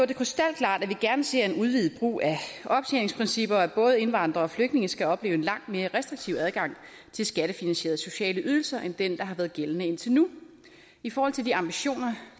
det krystalklart at vi gerne ser en udvidet brug af optjeningsprincipper at både indvandrere og flygtninge skal opleve en langt mere restriktiv adgang til skattefinansierede sociale ydelser end den der har været gældende indtil nu i forhold til de ambitioner